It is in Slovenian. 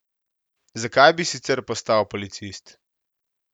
Zakaj bi sicer postal policist?